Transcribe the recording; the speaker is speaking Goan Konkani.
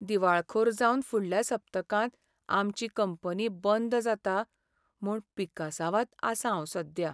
दिवाळखोर जावन फुडल्या सप्तकांत आमची कंपनी बंद जाता म्हूण पिकासांवांत आसां हांव सध्या.